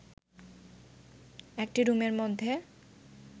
একটি রুমের মধ্যে